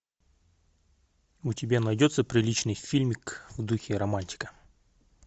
у тебя найдется приличный фильмик в духе романтика